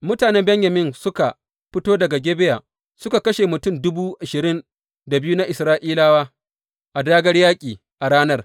Mutanen Benyamin suka fito daga Gibeya suka kashe mutum dubu ashirin da biyu na Isra’ilawa a dāgār yaƙi a ranar.